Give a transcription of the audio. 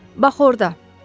Bax orda.